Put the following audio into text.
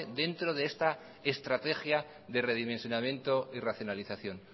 dentro de esta estrategia de redimensionamiento y racionalización